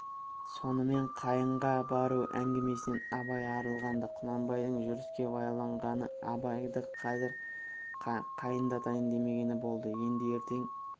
сонымен қайынға бару әңгімесінен абай арылған-ды құнанбайдың жүріске байланғаны абайды қазір қайындатайын демегені болды енді ертең